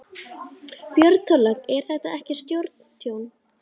Björn Þorláksson: En er þetta ekki stórtjón?